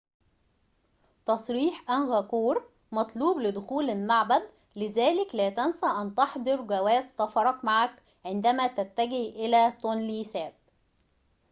تصريح أنغكور مطلوب لدخول المعبد لذلك لا تنس أن تحضر جواز سفرك معك عندما تتجه إلى تونلي ساب